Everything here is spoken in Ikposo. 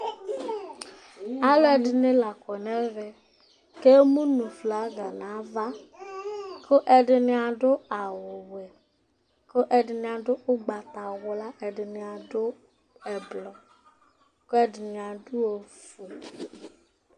alu ɛdini la kɔ nu ɛvɛ ku emu nu aflaga nu ava, ku ɛdini adu awu wɛ, ku ɛdini adu ugbata wla, ɛdini adu ɛblɔ, ku ɛdini adu ofue